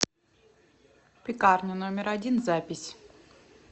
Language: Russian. пекарня номер один запись